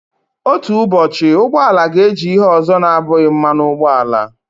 Otu ụbọchị, ụgbọ ala ga-eji ihe ọzọ na-abụghị mmanụ ụgbọala.